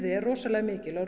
er rosalega mikil og